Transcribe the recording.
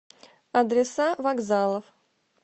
адреса вокзалов